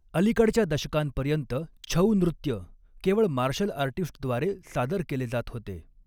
अलीकडच्या दशकांपर्यंत, छऊ नृत्य केवळ मार्शल आर्टिस्टद्वारे सादर केले जात होते.